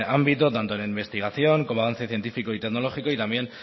ámbito tanto en investigación como avance científico y tecnológico y también